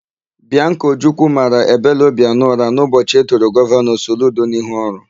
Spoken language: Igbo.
Bịanka Ojukwu mara Ebele Obianọ ụra n'ụbọchị edoro Gọvanọ Soludo n'ihu ọrụ.